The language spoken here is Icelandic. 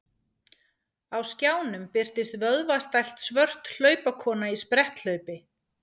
Á skjánum birtist vöðvastælt svört hlaupakona í spretthlaupi.